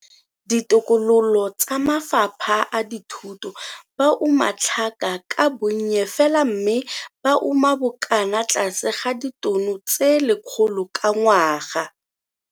Ditokololo tsa mafapha a dithuto ba uma tlhaka ka bonnye fela mme ba uma bokana tlase ga ditono tse 100 ka ngwaga.